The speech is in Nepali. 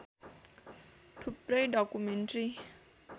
थुप्रै डकुमेन्ट्री